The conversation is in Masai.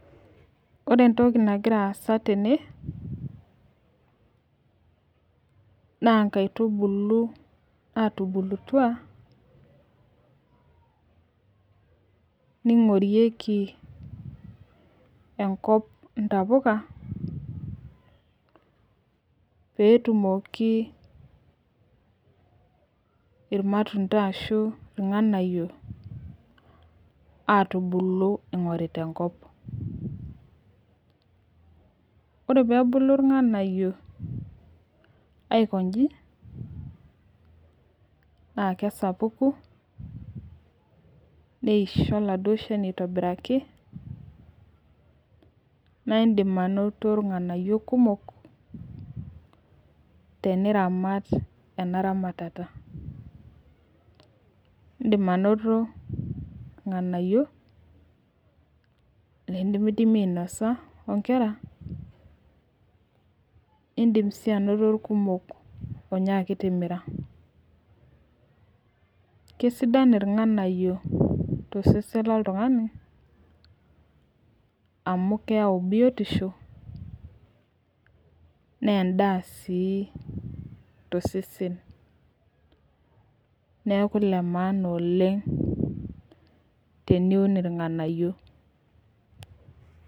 ore entoki nagira aasa tene na ngaitubulu natubukutua ningorieki enkop ntapuka peetumoki irmatunda arashu irnganayio atuubulu ingorita enkop. ore peebulu irnganayio aiko inji naa kesapuku neisho oladuo shani aitobiraki naa indim anoto irnganayio kumok teniramat ena ramatata indim anoto irnganayiok nindimdimi ainosa oo nkera indim sii anoto irkumo oo nyaki timira. kesidan irnganayio to sesen lo ltungani amu keyau biotisho naa endaa sii to sesen naiku ene maana oleng te ni un irnganayio